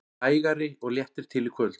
Hægari og léttir til í kvöld